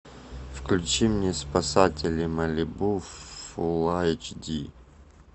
включи мне спасатели малибу фул айч ди